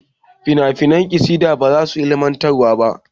finafinan kasada ba su da ilimantarwa